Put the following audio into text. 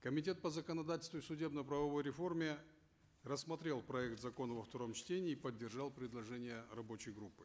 комитет по законодательству и судебно правовой реформе рассмотрел проект закона во втором чтении и поддержал предложение рабочей группы